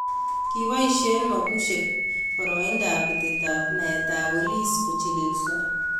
Ki boisyeen mabusyeek borooindab betetaab naetaab boliis kochiliilso